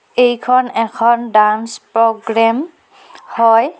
এইখন এখন dance programme হয়.